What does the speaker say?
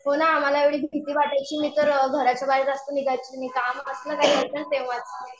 हो ना आम्हाला एवढी भीती वाटायची मी तर घराच्या बाहेर जास्त निघायची नाही. काम असलं काही तेंव्हाच.